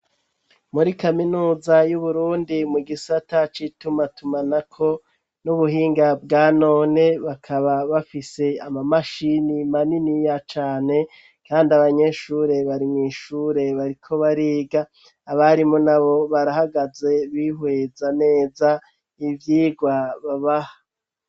Muri kaminuza y'uburundi mu gisata c'itumatumanako n'ubuhinga bwanone bakaba bafise ama mashini maniniya cane kandi abanyeshure bari mw'ishure bariko bariga abarimu nabo barahagaze bihweza neza ivyigwa babaha.